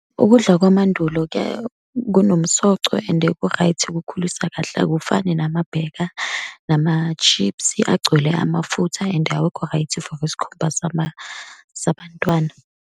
Ukudla kwamandulo kuya, kunomsoco and ku-right, kukhulisa kahle, akufani nama-burger, nama-chips, agcwele amafutha and awekho right for isikhumba sabantwana.